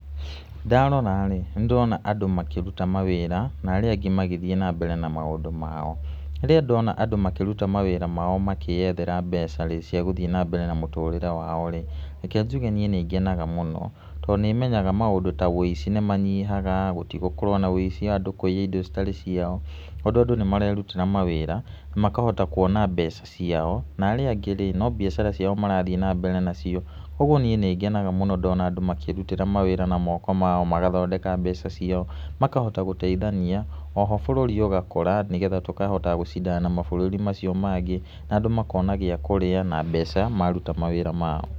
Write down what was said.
Ndarora rĩ, nĩ ndĩrona andũ makĩruta mawĩra na arĩa angĩ magĩthiĩ na mbere na maũndũ mao. Rĩrĩa ndona andũ makĩruta mawĩra mao makĩethera mbeca rĩ, cia gũthiĩ na mbere na mũtũrĩre wao rĩ, reke njuge niĩ nĩ ngenaga mũno. Tondũ nĩ menyaga maũndũ ta ũici nĩ manyihaga, gũtigũkorwo na ũici andũ kũiya indo citarĩ ciao, tondũ andũ nĩ marerutĩra mawĩra makahota kuona mbeca ciao. Na arĩa angĩ rĩ, no biacara ciao marathiĩ nambere nacio. Ũguo niĩ nĩ ngenaga mũno ndona andũ makĩĩrutĩra mawĩra na moko mao, magathondeka mbeca ciao, makahota gũteithania. Oho bũrũri ũgakũra nĩgetha tũkahota gũcindana na mabũrũri macio mangĩ. Na andũ makona gĩa kũrĩa na mbeca maruta mawĩra mao.